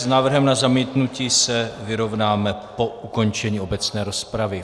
S návrhem na zamítnutí se vyrovnáme po ukončení obecné rozpravy.